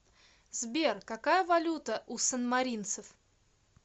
сбер какая валюта у санмаринцев